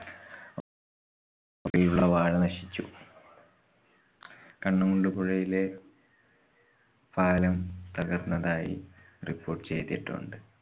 വാഴ നശിച്ചു. കണ്ണമുണ്ട് പുഴയിലെ പാലം തകര്‍ന്നതായി report ചെയ്തിട്ടുണ്ട്.